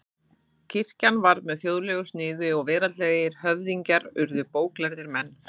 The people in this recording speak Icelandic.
Kirkjan varð með þjóðlegu sniði og veraldlegir höfðingjar urðu bóklærðir menn.